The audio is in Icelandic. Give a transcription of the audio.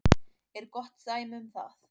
er gott dæmi um það.